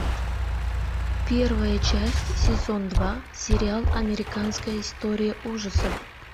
первая часть сезон два сериал американская история ужасов